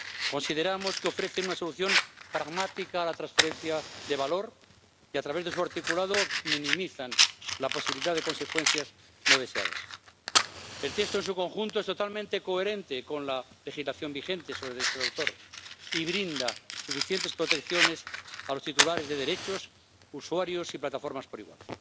Consideramos que ofrecen una solución pragmática a la transferencia de valor y a través de su articulado minimizan la posibilidad de consecuencias no deseadas. El texto en su conjunto es totalmente coherente con la legislación vigente sobre derechos de autor y brinda suficientes protecciones a los titulares de derechos, usuarios y plataformas por igual.